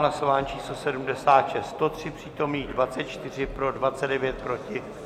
Hlasování číslo 76, 103 přítomných, 24 pro, 29 proti.